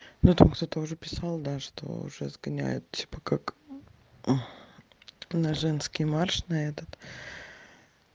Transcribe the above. ну там кто-то уже писал да что уже сгоняют типа как на женский марш на этот